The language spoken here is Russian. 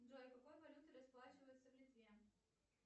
джой какой валютой расплачиваются в литве